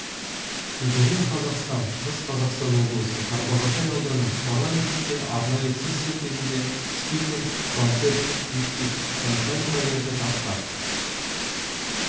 егемен қазақстан шығыс қазақстан облысы тарбағатай ауданы парламентте арнайы сессия кезінде спикер помпет вичитчончай мұрагерді таққа